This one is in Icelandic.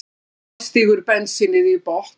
Silla stígur bensínið í botn.